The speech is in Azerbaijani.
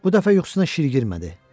Bu dəfə yuxusuna şir girmədi.